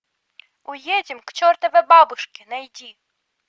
уедем к чертовой бабушке найти